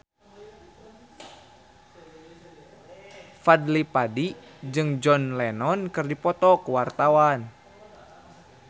Fadly Padi jeung John Lennon keur dipoto ku wartawan